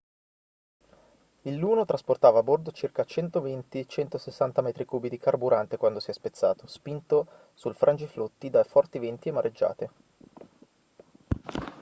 il luno trasportava a bordo circa 120-160 metri cubi di carburante quando si è spezzato spinto sul frangiflutti da forti venti e mareggiate